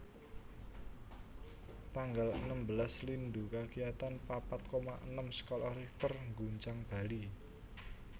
Tanggal enem belas Lindhu kakiyatan papat koma enem skala Richter ngguncang Bali